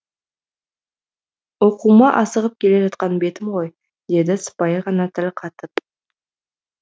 оқуыма асығып келе жатқан бетім ғой деді сыпайы ғана тіл қатып